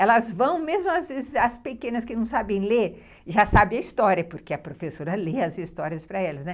Elas vão, mesmo as pequenas que não sabem ler, já sabem a história, porque a professora lê as histórias para elas.